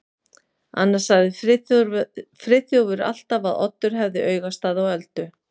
Annars sagði Friðþjófur alltaf að Oddur hefði augastað á Öldu.